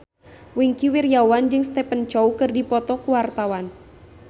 Wingky Wiryawan jeung Stephen Chow keur dipoto ku wartawan